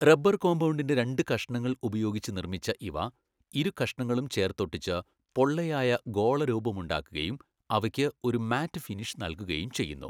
Rubber കോമ്പൌണ്ടിൻ്റെ രണ്ട് കഷ്ണങ്ങൾ ഉപയോഗിച്ച് നിർമ്മിച്ച ഇവ ഇരുകഷ്ണങ്ങളും ചേർത്തൊട്ടിച്ച് പൊള്ളയായ ഗോളരൂപമുണ്ടാക്കുകയും അവയ്ക്ക് ഒരു മാറ്റ് ഫിനിഷ് നൽകുകയും ചെയ്യുന്നു.